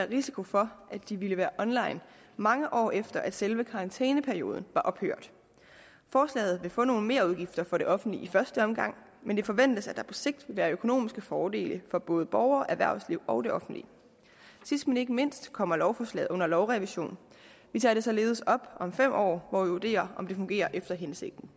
risiko for at de vil være online mange år efter at selve karantæneperioden var ophørt forslaget vil få nogle merudgifter for det offentlige i første omgang men det forventes at der på sigt vil være økonomiske fordele for både borgere erhvervsliv og det offentlige sidst men ikke mindst kommer lovforslaget under lovrevision vi tager det således op om fem år hvor vi vurderer om det fungerer efter hensigten